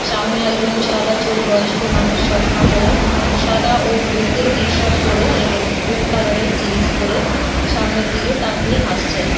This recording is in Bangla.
সামনে একজন সাদা চুল বয়স্ক মানুষ চশমা পরে সাদা ও ব্লু তে টি শার্ট পরে এবং ব্লু কালার এর জিন্স পরে সামনের দিকে তাকিয়ে হাসছেন।